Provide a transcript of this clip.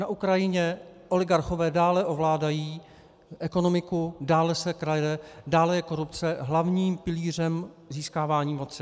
Na Ukrajině oligarchové dále ovládají ekonomiku, dále se krade, dále je korupce hlavním pilířem získávání moci.